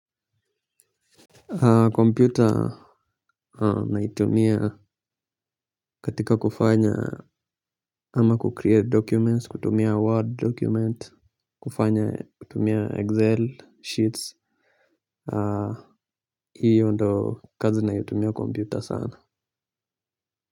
Komputa naitumia katika kufanya ama 'kukreate documents', kutumia 'word document', kufanya kutumia 'excel sheets', hiyo ndio kazi naitumia computer sana.